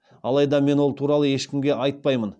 алайда мен ол туралы ешкімге айтпаймын